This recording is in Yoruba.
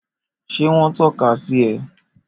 Ṣé wọ́n tọ́ka sí ẹ?